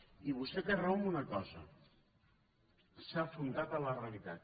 i vostè té raó en una cosa s’ha afrontat a la realitat